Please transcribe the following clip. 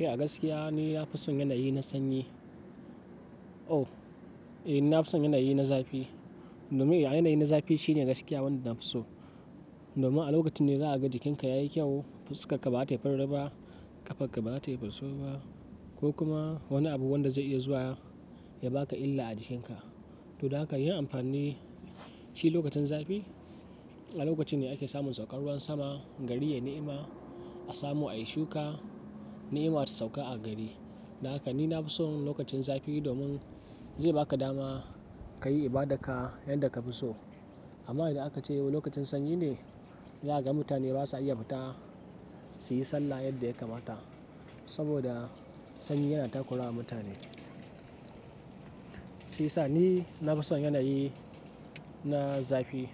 Eh a gaskiya ni na fi son yanayi na sanyi. Ouh, eh na fi son yanayi na zafi. Domin yanayi na zafi shine a gaskiya wanda na fi so. Domin a lokacin ne za a ga jikinka yayi kyau, fuska ka bata yi fururu ba, ƙafa ka bata yi fasau ba, ko kuma wani abu wanda zai iya zuwa ya baka illa a jikinka. To dan haka yin amfani shi lokacin zafi a lokacin ne ake samun saukan ruwan sama, gari ya yi ni'ima, a samu a yi shuka, ni'ima ta sauƙa a gari. Don haka ni na fi son lokacin zafi domin zai baka dama ka yi ibadar ka yadda ka fi so. Amma idan aka ce yau lokacin sanyi ne, zaka ga mutane basa iya fita su yi sallah yadda ya kamata. Saboda sanyi yana takura wa mutane. Shi yasa ni na fi son yanayi na zafi.